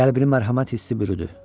Qəlbini mərhəmət hissi bürüdü.